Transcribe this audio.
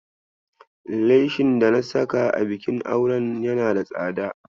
Leshin dana saka a bikin auren yana da tsada.